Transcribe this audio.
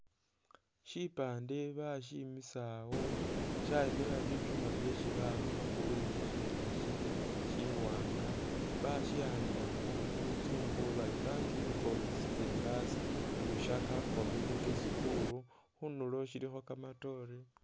Shipande bashimisa awoo shayimila bishuuma byesi bakhakhakho blue shishene shili shiwanga bashikhandikhakho muluzungu bari "Thank you for visiting us Lusaka community school" khundulo shilikho kamatore.